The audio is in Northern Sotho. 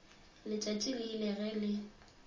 letšatši le ile ge le